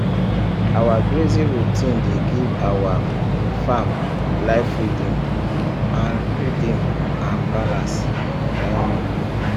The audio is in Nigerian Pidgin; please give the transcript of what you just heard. our grazing routine dey give our farm life rhythm and rhythm and balance um